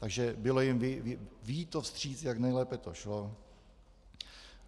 Takže bylo jim vyjito vstříc, jak nejlépe to šlo.